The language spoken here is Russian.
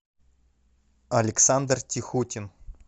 александр тихутин